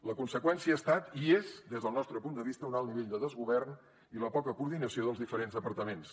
la conseqüència ha estat i és des del nostre punt de vista un alt nivell de desgovern i la poca coordinació dels diferents departaments